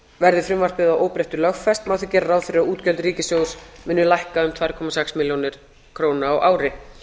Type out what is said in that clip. verði frumvarpið að óbreyttu lögfest má gera ráð fyrir að útgjöld ríkissjóð muni lækka um tvær komma sex milljónir króna á ári